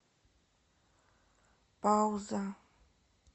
пауза